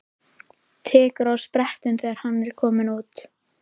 Tekur á sprett þegar hann er kominn út.